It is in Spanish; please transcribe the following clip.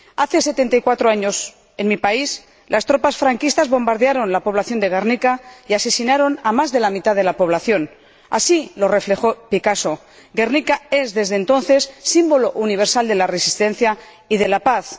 Hace setenta y cuatro años, en mi país, las tropas franquistas bombardearon la población de Guernica y asesinaron a más de la mitad de la población así lo reflejó Picasso Guernica es, desde entonces, símbolo universal de la resistencia y de la paz.